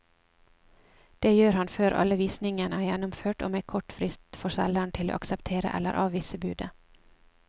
Det gjør han før alle visningene er gjennomført og med kort frist for selgeren til å akseptere eller avvise budet.